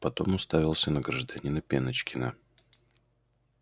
потом уставился на гражданина пеночкина